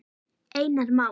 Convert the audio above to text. Einar Má.